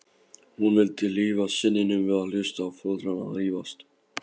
Hún vildi hlífa syninum við að hlusta á foreldrana rífast.